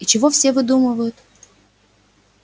и чего все выдумывают